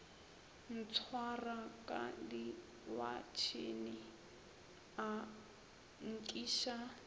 ntshwara ka diwatšhene a nkiša